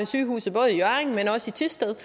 sygehuset i thisted